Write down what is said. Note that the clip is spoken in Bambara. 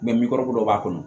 dɔw b'a kɔnɔ